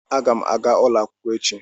Aga m aga ulo akwukwo echi.